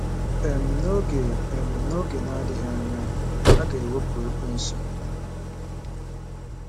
um N’oge um N’oge na-adịghị anya, a ga-ewepụ Ekwensu.